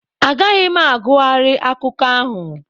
Agaghị m agughari akụkọ ahụ.